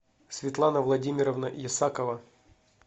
светлана владимировна есакова